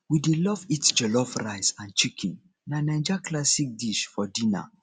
we dey love eat jollof rice and chicken na naija classic dish for dinner